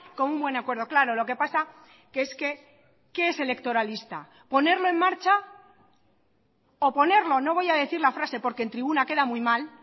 con un buen acuerdo claro lo que pasa que es que qué es electoralista ponerlo en marcha o ponerlo no voy a decir la frase porque en tribuna queda muy mal